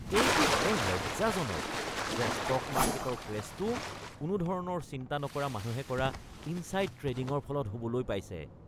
এইটো বৰ লজ্জাজনক যে ষ্টক মাৰ্কেটৰ ক্ৰেশ্বটো কোনো ধৰণৰ চিন্তা নকৰা মানুহে কৰা ইনছাইড ট্ৰেডিঙৰ ফলত হ’বলৈ পাইছে।